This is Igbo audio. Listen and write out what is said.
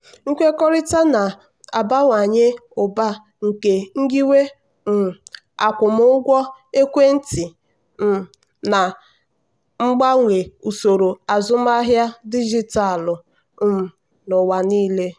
nkwekọrịta na-abawanye ụba nke nyiwe um akwụmụgwọ ekwentị um na-agbanwe usoro azụmahịa dijitalụ um n'ụwa niile.